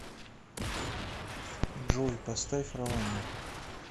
джой поставь раванна